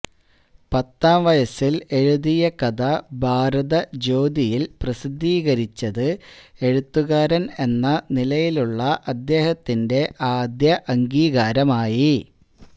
പത്താംവയസ്സിൽ എഴുതിയ കഥ ഭാരത ജ്യോതിയിൽ പ്രസിദ്ധീകരിച്ചത് എഴുത്തുകാരൻ എന്ന നിലയിലുള്ള അദ്ദേഹത്തിന്റെ ആദ്യ അംഗീകാരമായി